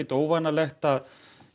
óvanalegt